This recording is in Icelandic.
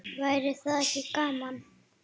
Væri það ekki gaman?